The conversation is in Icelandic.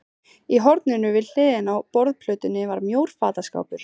Í horninu við hliðina á borðplötunni var mjór fataskápur.